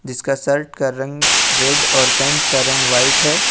इसका शर्ट कर रंग रेड और पेट का रंग व्हाइट है ।